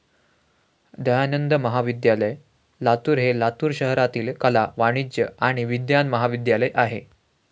दयानंद महाविद्यालय, लातूर हे लातूर शहरातील कला, वाणिज्य आणि विज्ञान महाविद्यालय आहे.